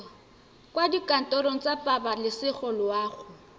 kwa dikantorong tsa pabalesego loago